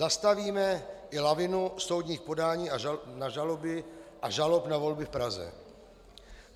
Zastavíme i lavinu soudních podání na žaloby a žalob na volby v Praze.